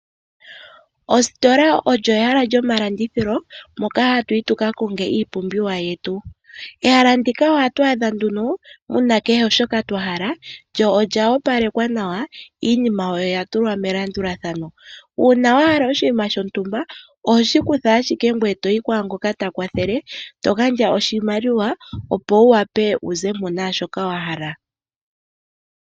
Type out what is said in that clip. Ositola olyo ehala lyomalandithilo moka hatu yi tuka konge iipumbiwa yetu. Ehala ndika ohatu adha nduno muna kehe shoka twa hala lyo olya opalekwa nawa, iinima oya tulwa melandulathano. Uuna wa hala oshinima shontumba oho shi kutha ashike ngoye toyi kwaangoka ta kwathele to gandja oshimaliwa, opo wu wape wu zemo naashoka wa hala.